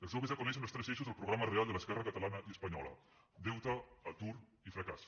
els joves ja coneixen els tres eixos del programa real de l’esquerra catalana i espanyola deute atur i fracàs